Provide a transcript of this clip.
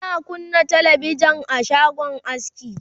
ana kunna talabijan a shagon aski